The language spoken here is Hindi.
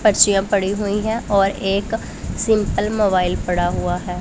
पर्चियां पड़ी हुई हैं और एक सिंपल मोबाइल पड़ा हुआ है।